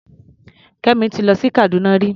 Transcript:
Kẹ́mi ti lọ sí Kàdúná rí.